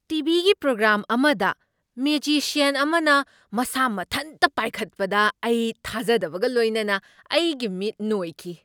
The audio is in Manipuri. ꯇꯤ. ꯚꯤ. ꯒꯤ ꯄ꯭ꯔꯣꯒ꯭ꯔꯥꯝ ꯑꯃꯗ ꯃꯦꯖꯤꯁꯤꯌꯟ ꯑꯃꯅ ꯃꯁꯥ ꯃꯊꯟꯇ ꯄꯥꯏꯈꯠꯄꯗ ꯑꯩ ꯊꯥꯖꯗꯕꯒ ꯂꯣꯏꯅꯅ ꯑꯩꯒꯤ ꯃꯤꯠ ꯅꯣꯏꯈꯤ ꯫